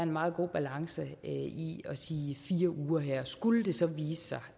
meget god balance i at sige fire uger her skulle det så vise sig